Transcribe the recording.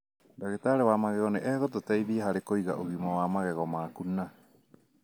Ndagĩtarĩ wa magego nĩ egũgũteithia harĩ kũiga ũgima wa magego maku na